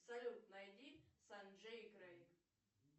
салют найди санджей и крейг